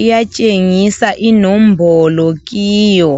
iyatshengisa inombolo kiyo.